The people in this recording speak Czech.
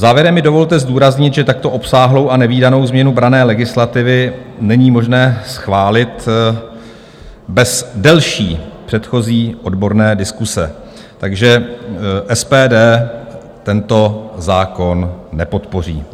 Závěrem mi dovolte zdůraznit, že takto obsáhlou a nevídanou změnu branné legislativy není možné schválit bez delší předchozí odborné diskuse, takže SPD tento zákon nepodpoří.